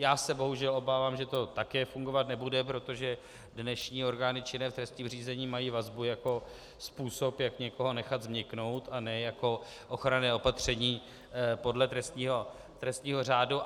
Já se bohužel obávám, že to také fungovat nebude, protože dnešní orgány činné v trestním řízení mají vazbu jako způsob, jak někoho nechat změknout, a ne jako ochranné opatření podle trestního řádu.